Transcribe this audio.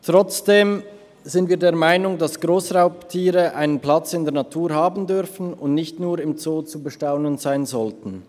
Trotzdem sind wir der Meinung, dass Grossraubtiere einen Platz in der Natur haben dürfen und nicht nur im Zoo zu bestaunen sein sollten.